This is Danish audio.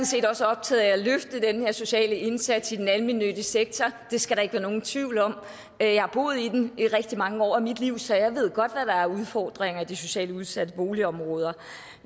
set også optaget af at løfte den her sociale indsats i den almennyttige sektor det skal der ikke være nogen tvivl om jeg har boet i den i rigtig mange år af mit liv så jeg ved godt hvad der er af udfordringer i de socialt udsatte boligområder